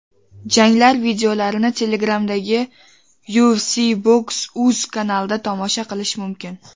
Janglar videolarini Telegram’dagi @Ufcboxuz kanalida tomosha qilish mumkin.